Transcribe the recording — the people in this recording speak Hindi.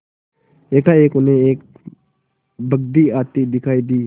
एकाएक उन्हें एक बग्घी आती दिखायी दी